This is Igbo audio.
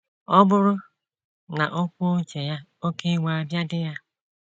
Ọ bụrụ na o kwuo uche ya, oké iwe abịa di ya.